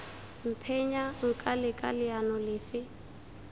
mphenya nka leka leano lefe